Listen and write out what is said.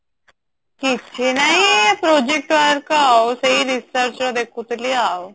କିଛି ନାଇଁ project work ଆଉ ସେଇ research ର ଦେଖୁଥିଲି ଆଉ